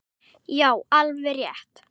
Já, alveg rétt.